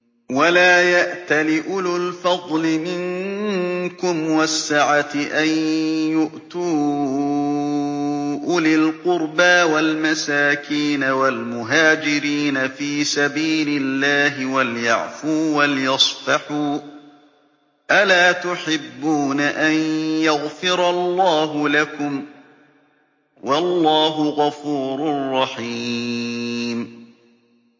وَلَا يَأْتَلِ أُولُو الْفَضْلِ مِنكُمْ وَالسَّعَةِ أَن يُؤْتُوا أُولِي الْقُرْبَىٰ وَالْمَسَاكِينَ وَالْمُهَاجِرِينَ فِي سَبِيلِ اللَّهِ ۖ وَلْيَعْفُوا وَلْيَصْفَحُوا ۗ أَلَا تُحِبُّونَ أَن يَغْفِرَ اللَّهُ لَكُمْ ۗ وَاللَّهُ غَفُورٌ رَّحِيمٌ